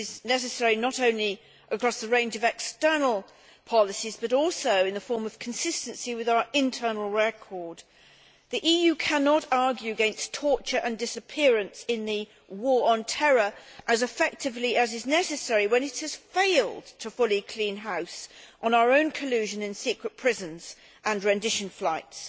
This is necessary not only across the range of external policies, but also in the form of consistency with our internal record. The EU cannot argue against torture and disappearance in the war on terror as effectively as is necessary when it has failed to fully clean house on our own collusion in secret prisons and rendition flights.